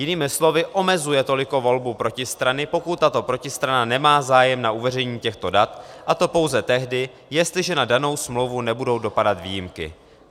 Jinými slovy omezuje toliko volby protistrany, pokud tato protistrana nemá zájem na uveřejnění těchto dat, a to pouze tehdy, jestliže na danou smlouvu nebudou dopadat výjimky.